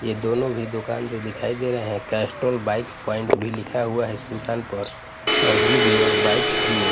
ये दोनों भी दुकान जो दिखाई दे रहे हैं कैस्टोल बाइक पॉइंट भी लिखा हुआ है इस दुकान पर और give your bike three A --